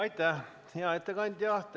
Aitäh, hea ettekandja!